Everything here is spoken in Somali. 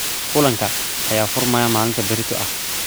Kulanka ayaa furmaya maalinta berito ah